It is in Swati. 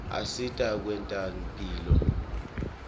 asita nakwetemphilo